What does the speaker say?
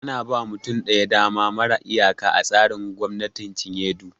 Ana ba wa mutum ɗaya dama mara iyaka a tsarin gwamnatin cinye du